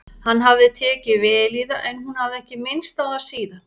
Hann hafði tekið vel í það en hún hafði ekki minnst á það síðan.